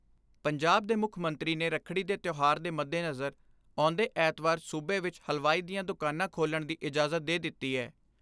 ਪੰਜਾਬ ਦੇ ਮੁੱਖ ਮੰਤਰੀ ਨੇ ਰੱਖੜੀ ਦੇ ਤਿਓਹਾਰ ਦੇ ਮੱਦੇਨਜਰ ਆਉਂਦੇ ਐਤਵਾਰ ਸੂਬੇ ਵਿਚ ਹਲਵਾਈ ਦੀਆਂ